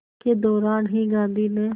के दौरान ही गांधी ने